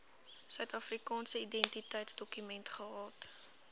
suidafrikaanse identiteitsdokument gehad